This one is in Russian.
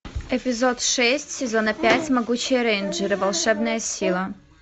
эпизод шесть сезона пять могучие рейнджеры волшебная сила